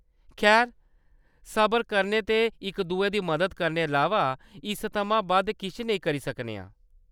खैर, सबर करने ते इक-दुए दी मदद करने दे अलावा इस थमां बद्ध किश नेईं करी सकने आं।